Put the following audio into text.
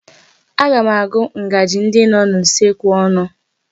Aga m agụ ngaji ndi nọ n'usekwu ọnụ.